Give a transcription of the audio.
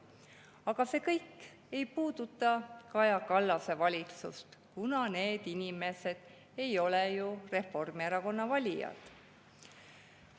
Aga see kõik ei puuduta Kaja Kallase valitsust, kuna need inimesed ei ole ju Reformierakonna valijad.